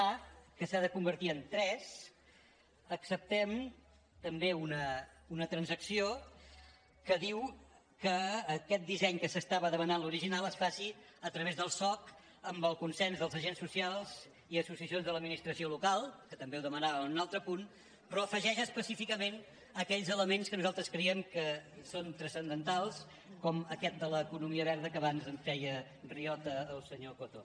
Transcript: a que s’ha de convertir en tres acceptem també una transacció que diu que aquest disseny que s’estava demanant l’original es faci a través del soc amb el consens dels agents socials i associacions de l’administració local que també ho demanàvem en un altre punt però afegeix específi·cament aquells elements que nosaltres creiem que són transcendentals com aquest de l’economia verda que abans en feia riota el senyor coto